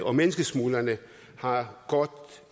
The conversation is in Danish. og menneskesmuglerne har